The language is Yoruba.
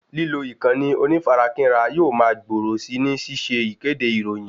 Lílo ìkànnì onífarakínra yóò ma gbòòrò si ni ṣíṣe ìkéde ìròyìn